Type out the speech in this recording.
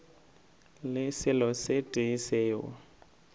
le selo se tee seo